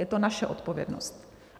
Je to naše odpovědnost.